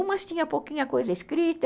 Umas tinha pouquinha coisa escrita,